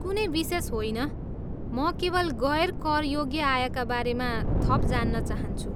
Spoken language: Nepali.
कुनै विशेष होइन, म केवल गैर करयोग्य आयका बारेमा थप जान्न चाहन्छु।